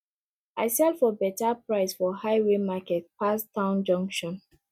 i sell for better price for highway market pass town junction